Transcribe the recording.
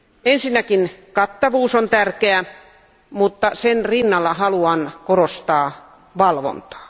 Ensinnäkin kattavuus on tärkeää, mutta sen rinnalla haluan korostaa valvontaa.